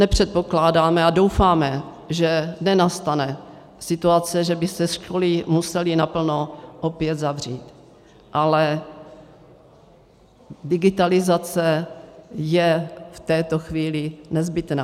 Nepředpokládáme a doufáme, že nenastane situace, že by se školy musely naplno opět zavřít, ale digitalizace je v této chvíli nezbytná.